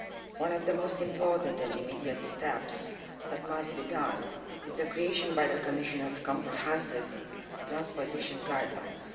One of the most important and immediate steps that must be taken is the creation by the Commission of comprehensive transposition guidelines.